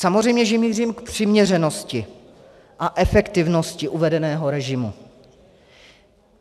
Samozřejmě že mířím k přiměřenosti a efektivnosti uvedeného režimu.